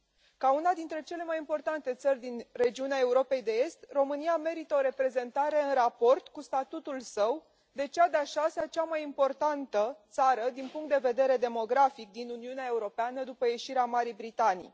Ca una dintre cele mai importante țări din regiunea Europei de Est, România merită o reprezentare în raport cu statutul său, de cea de a șasea cea mai importantă țară din punct de vedere demografic din Uniunea Europeană după ieșirea Marii Britanii.